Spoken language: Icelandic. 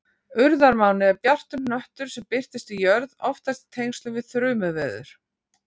Urðarmáni er bjartur hnöttur sem birtist við jörð, oftast í tengslum við þrumuveður.